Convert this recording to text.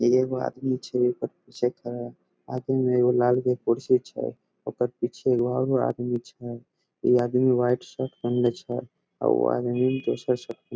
एगो आदमी छै ओकर पीछे खड़ा आदमी एगो लाल कलर के कुर्सी छै ओकर पीछे एगो और आदमी छै उ आदमी व्हाइट शर्ट पहिनले छै और उ आदमी दोसर सब के --